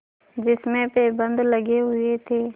जिसमें पैबंद लगे हुए थे